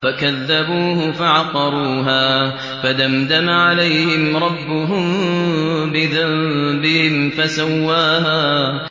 فَكَذَّبُوهُ فَعَقَرُوهَا فَدَمْدَمَ عَلَيْهِمْ رَبُّهُم بِذَنبِهِمْ فَسَوَّاهَا